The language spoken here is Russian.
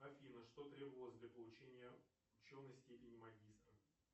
афина что требовалось для получения ученой степени магистра